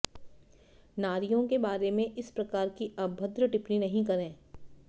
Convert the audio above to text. नारियों के बारे में इस प्रकार की अभद्र टिप्पणी नहीं करे